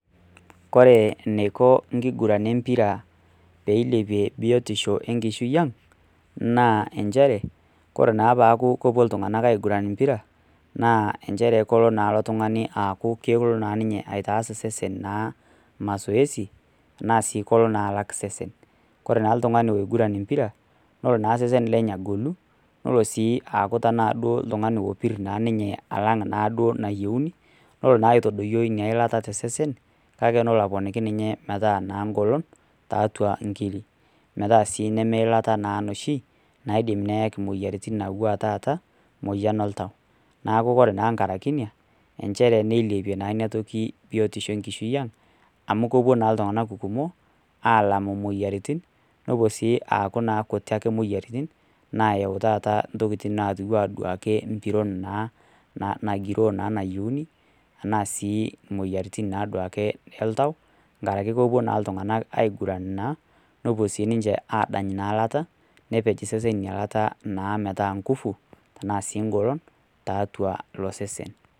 Ore eneiko enkiguran e mpira pee eilepie biotisho enkishui ang', naa nchere, ore naake peaku epuo iltung'anak aiguran empira, naa nchere elo naake ninye ilo tung'ani aaku kelo naa ninye aitaas osesen naa mazoezi naa sii kelo naa alak osesen. Ore naa oltung'ani oiguran empira, nelo naa osesen lenye agolu, nelo naa sii duo aaku tanaa oltung'ani opir ninye alang' anaa duo nayieuni, nelo naa aitadoiyo ina ilata tosesen, kake nelo naa aponiki ninye naa metaa naa eng'olon, tiatua inkiri metaa sii nemeilata naa noshi naidim neaki imoyiaritin anaa ore taata emoyian oltau. Neaku naa ore enkaraki ina, nchere neilepie naa ina toki biotisho enkishui yiang', amu kepuo naa iltung'ana kumok, aalam imoyiaritin, nelo naa aaku ake sii kuti imoyiaritin naayau taata intokitin naatu anaa empiron naa nagiroo naa nayieuni, anaa sii duake imoyiaritin oltau, enkarake epuo naake iltung'anak naake aiguran naa nepuo sii ninche naa adany naa eilata, nepej isesen naa ina ilata naa metaa sii eng'olon naa tiatua ilo sesen.